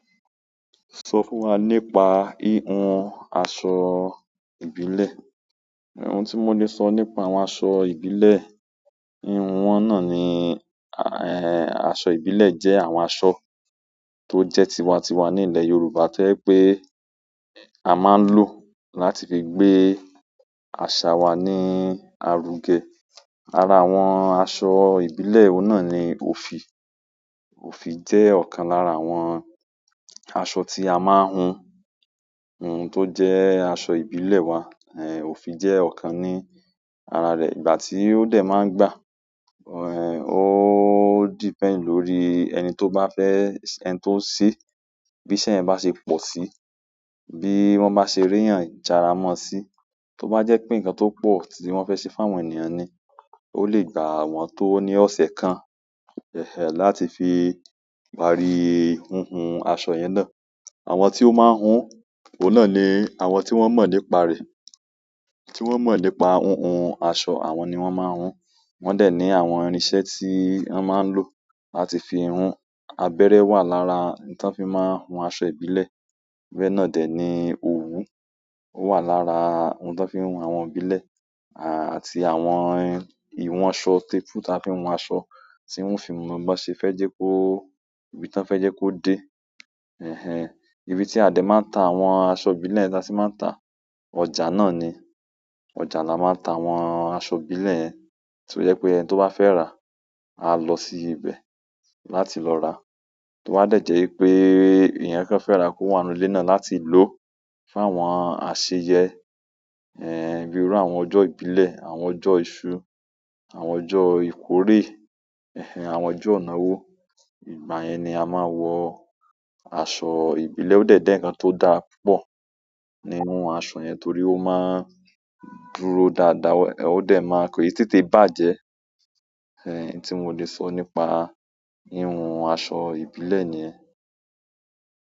Sọ fún wa nípa hihun aṣọ ìbílẹ̀ o hun tí mo le sọ nípa àwọn aṣọ ìbílẹ̀, àwọn wọn náà ni, ẹ́ẹ́ aṣọ ìbílẹ̀ jẹ́ àwọn aṣọ tó jẹ́ tiwa-tiwa ní ilẹ̀ Yorùbá tí o je pé a máa ń lò láti fi gbé àṣà wa ní aru ge. Ara àwọn aṣọ ìbílẹ̀ oun na ni ofi òfì jẹ́ ọ̀kan lára àwọn aṣọ tí a máa ń hun. Ohun tó jẹ́ aṣọ ìbílẹ̀ wa, òfì jẹ́ ọ̀kan ní ara rẹ̀. Ìgbà tí ó dẹ̀ máa ń gbà, ẹ́ẹ́ ó di pẹ́nd lórí ẹni tó bá fẹ́, ẹni tó ṣe bí iṣẹ́ ẹ bá ṣe pọ̀ sí, bí wọ́n bá ṣe ri eyan jára mọ́ sí, tó bá jẹ́ pé nǹkan tó pọ̀ tí wọ́n fẹ́ ṣe fáwọn ènìyàn ni, ó lè gbà wọ́n tó ní ọ̀sẹ̀ kan. Ẹ̀hẹ̀n ẹ́, láti fi parí hun hun aṣọ yen na. Àwọn tí ó máa ń hun òun náà ni àwọn tí wọ́n mọ̀ nípa rẹ̀. Tí wọ́n mọ̀ nípa hunhun aṣọ, àwọn ni wọ́n ma hun. Wọ́n dẹ̀ ní àwọn irin iṣẹ́ tí wọ́n máa ń lò láti fi hun. Abẹ́rẹ́ wà lára ohun tó fi máa ń hun aṣọ ibike. Bẹ́ẹ̀ náà dẹ̀ ni owu ó wà lára ohun tó fi ń hun àwọn ìbílẹ̀, àti àwọn ìwọ̀n aṣọ tape rule tó fi ń hun aṣọ, tí wọ́n fi mú wọn bá ṣe fẹ́ jẹ́ kó, ibi tí wọ́n fẹ́ jẹ́ kó dé. Ẹ̀hn ehn ẹ́, ibi tí a dẹ̀ máa ń ta àwọn aṣọ ìbílẹ̀ tí a sì máa ń tà, ọjà náà ni ọjà la máa ń ta àwọn aṣọ ìbílẹ̀ to je pé ẹni tó bá fẹ́ rà, á lọ sí ibẹ̀ láti lọ rà. Torí ẹ ba jẹ́ wípé èèyàn kan fe ra kó wà nínú ilẹ̀ náà láti lò fún àwọn àṣeyẹ ẹ́ẹ́, bíi irú àwọn ọjọ́ ìbílẹ̀, àwọn ọjọ́ iṣu, àwọn ọjọ́ ìkórè, ẹ́hẹ̀n ẹ́, àwọn ọjọ́ ina owó. Ìgbà yẹn ni a máa wọ aṣọ ìbílẹ̀, ó dẹ̀ ń je nǹkan tó dára púpọ̀ nínú aṣọ yẹn torí ó máa ń dúró dáadáa, ó dẹ̀ máa ke tètè bá jẹ́ ẹ́hẹ̀n ẹ́ tí mo lè sọ nípa híhun aṣọ ìbílẹ̀ ni ẹ́.